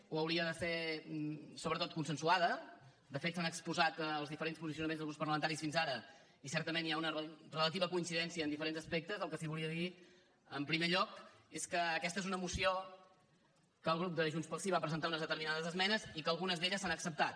o hauria de ser sobretot consensuada de fet s’han exposat els diferents posicionaments dels grups parlamentaris fins ara i certament hi ha una relativa coincidència en diferents aspectes el que sí que volia dir en primer lloc és que aquesta és una moció en què el grup de junts pel sí va presentar unes determinades esmenes i que algunes d’elles s’han acceptat